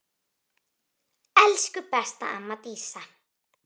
Elsku besta amma Dísa.